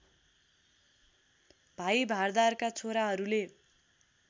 भाइ भारदारका छोराहरूले